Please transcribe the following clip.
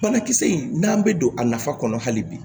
Banakisɛ in n'an bɛ don a nafa kɔnɔ hali bi